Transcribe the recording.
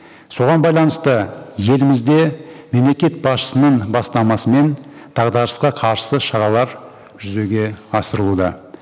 соған байланысты елімізде мемлекет басшысының бастамасымен дағдарысқа қарсы шаралар жүзеге асырылуда